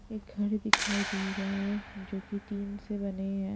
एक घर दिखाई दे रहा है जो की टीन से बने है।